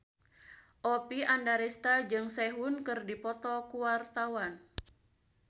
Oppie Andaresta jeung Sehun keur dipoto ku wartawan